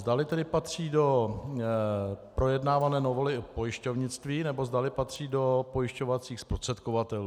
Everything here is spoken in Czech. Zdali tedy patří do projednávané novely o pojišťovnictví, nebo zdali patří do pojišťovacích zprostředkovatelů.